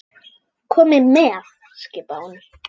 Komiði með! skipaði hún.